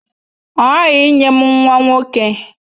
Ọ ghaghị inye m nwa nwoke!